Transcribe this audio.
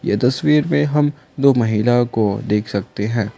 ये तस्वीर में हम दो महिला को देख सकते हैं।